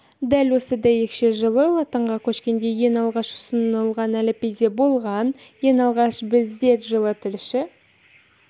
дәл осы дәйекше жылы латынға көшкенде ең алғашқы ұсынылған әліпбиде болған ең алғаш бізде жылы тілші